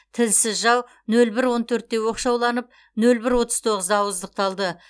тілсіз жау нөл бір он төртте оқшауланып нөл бір отыз тоғызда ауыздықталды